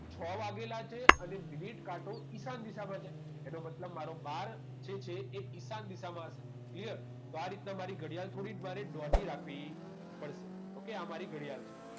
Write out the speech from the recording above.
છ વાગેલા છે અને મિનિટ કાંટો ઈશાન દિશામાં છે એનો મતલબ મારો બાર જે છે એ ઈશાન દિશા માં હશે clear તો આ રીતના મારી ઘડિયાળ થોડીક મારે દોઢી રાખવી પડશે okay આ મારી ઘડિયાળ છે